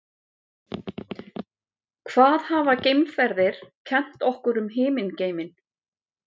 Hvað hafa geimferðir kennt okkur um himingeiminn?